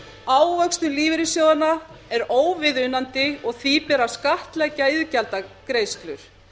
ávöxtun lífeyrissjóðanna er óviðunandi og því ber að skattleggja iðgjaldagreiðslur